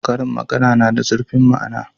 Karin magana na da zurfin ma'ana.